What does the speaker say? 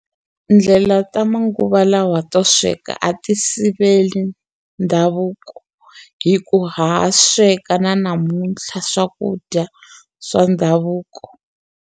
Ndlela ta manguva lawa to sweka a ti sivela ndhavuko hi ku ha sweka na namuntlha swakudya swa ndhavuko.